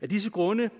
af disse grunde